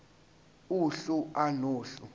uhlu a nohlu